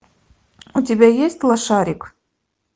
у тебя есть лошарик